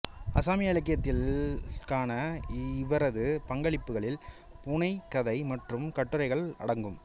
அசாமிய இலக்கியத்திற்கான இவரது பங்களிப்புகளில் புனைகதை மற்றும் கட்டுரைகள் அடங்கும்